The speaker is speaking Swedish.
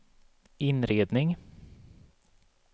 inredning